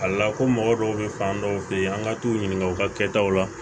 A la ko mɔgɔ dɔw bɛ fan dɔw fɛ yen an ka t'u ɲininka u ka kɛtaw la